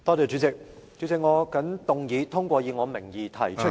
主席，我謹動議通過以我名義提出的......